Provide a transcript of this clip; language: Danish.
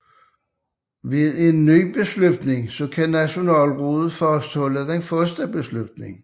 Gennem en ny beslutning kan Nationalrådet fastholde den første beslutning